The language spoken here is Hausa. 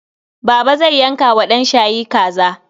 Baba zai yanka wa ɗanshayi kaza.